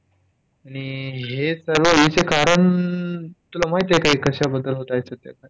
आणि हे चालू होण्याचे कारण तुला माहितीये का? कश्याबद्दल होत आहेत ते आता?